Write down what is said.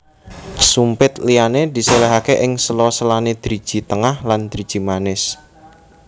Sumpit liyane diselehake ing sela selane driji tengah lan driji manis